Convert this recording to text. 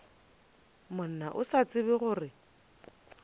monna o sa tsebe gore